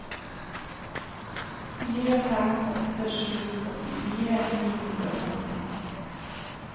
fire fem åtte sju åttifire ni hundre og femti